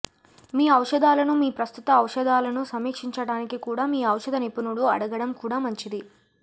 మీ ఔషధాలను మీ ప్రస్తుత ఔషధాలను సమీక్షించటానికి కూడా మీ ఔషధ నిపుణుడు అడగడం కూడా మంచిది